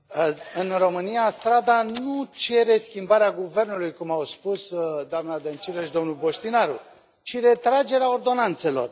Domnule președinte, în România strada nu cere schimbarea guvernului cum au spus doamnă Dăncilă și domnul Bostinaru, ci retragerea ordonanțelor.